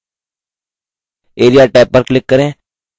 area tab पर click करें